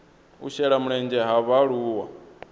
u shela mulenzhe ha vhaaluwa